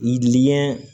Yidiɲɛ